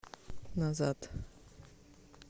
назад